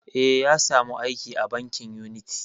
Eh, ya sa mu aiki a bankin uniti